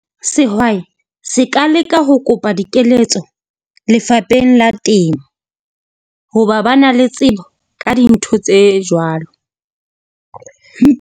Sehwai se ka leka ho kopa dikeletso lefapheng la temo, hoba ba na le tsebo ka dintho tse jwalo.